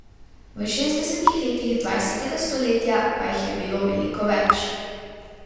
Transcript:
V šestdesetih letih dvajsetega stoletja pa jih je bilo veliko več.